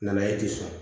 Na ye ten